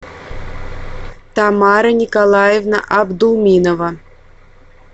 тамара николаевна абдуминова